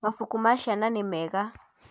Mabuku ma ciana nĩ mega